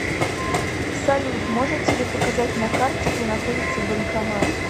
салют можете ли показать на карте где находится банкомат